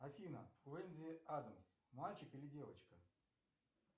афина уэнди адамс мальчик или девочка